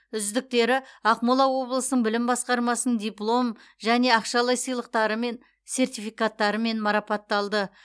үздіктері ақмола облысының білім басқармасының диплом және ақшалай сыйлықтары мен сертификатымен марапатталды